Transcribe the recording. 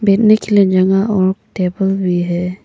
बैठने के लिए जगह और टेबल भी है।